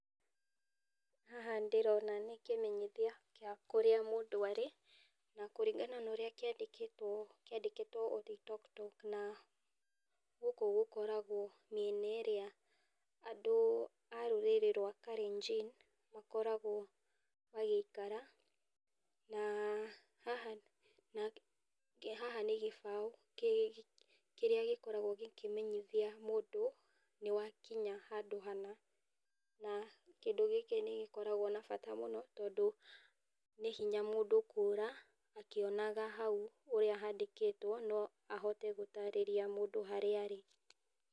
Haha ndĩrona nĩ kĩmenyithia gĩa kũrĩa mũndũ arĩ, na kũringana na ũrĩa kiandĩkĩtwo Oloitoktok, na gũkũ gũkoragwo mĩena ĩrĩa andũ a rũrĩrĩ rwa kalejin makoragwo magĩikara, na haha na ke haha nĩ gĩbau kĩrĩa gĩkoragwo gĩkĩmenyithia mũndũ nĩwakinya handũ hana, na kĩndũ gĩkĩ nĩgĩkoragwo na bata mũno tondũ , nĩ hinya mũndũ kũra akĩonaga hau ũrĩa handĩkĩtwo, no ahote gũtarĩrĩa mũndũ harĩa arĩ.